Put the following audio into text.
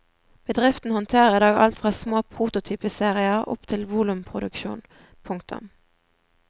Bedriften håndterer i dag alt fra små prototypeserier opp til volumproduksjon. punktum